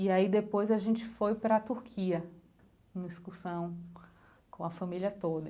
E aí depois a gente foi para a Turquia, na excursão com a família toda.